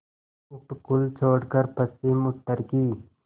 उपकूल छोड़कर पश्चिमउत्तर की